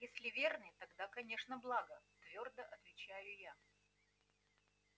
если верный тогда конечно благо твёрдо отвечаю я